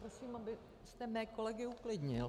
Prosím, abyste mé kolegy uklidnil.